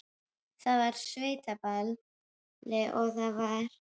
Það var á sveitaballi og það var.